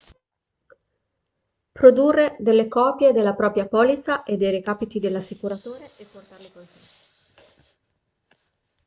produrre delle copie della propria polizza e dei recapiti dell'assicuratore e portarle con sé